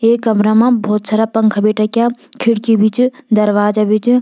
ये कमरा मा भोत सारा पंखा भी टक्या खिड़की भी च दरवाजा भी च।